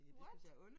What